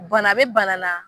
Bana be bana na